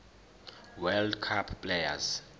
world cup players